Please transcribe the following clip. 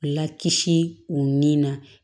Lakisi u ni na